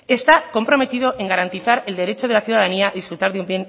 está comprometido en garantizar el derecho de la ciudadanía a disfrutar de un